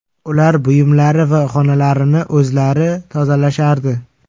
Ular buyumlari va xonalarini o‘zlari tozalashardi.